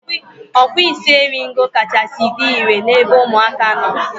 Ọkpụisieringo kachasị dị irè n'ebe ụmụaka nọ.